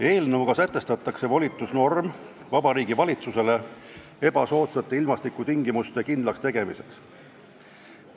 Eelnõuga sätestatakse volitusnorm Vabariigi Valitsusele ebasoodsate ilmastikutingimuste kindlakstegemiseks.